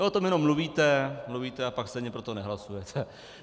Vy o tom jenom mluvíte, mluvíte, a pak stejně pro to nehlasujete!